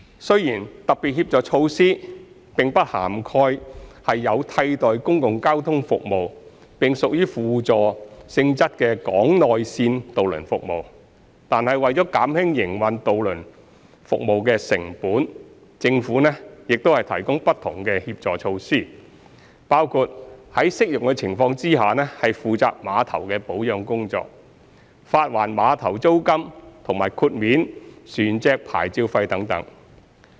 雖然特別協助措施並不涵蓋有替代公共交通服務並屬輔助性質的港內線渡輪服務，但為減輕營運渡輪服務的成本，政府亦提供不同的協助措施，包括在適用的情況下負責碼頭的保養工作、發還碼頭租金和豁免船隻牌照費等。